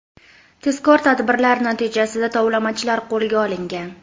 Tezkor tadbirlar natijasida tovlamachilar qo‘lga olingan.